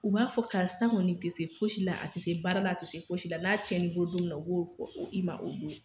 U b'a fɔ karisa kɔni tɛ se fosi la, a tɛ se baara la ,a tɛ se foyi si la n'a cɛn kbolo don min na , u b'a fɔ i ma